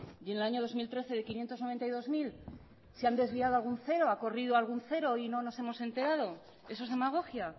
y en el año dos mil trece de bostehun eta laurogeita hamabi mila se han desviado algún cero ha corrido algún cero y no nos hemos enterado eso es demagogia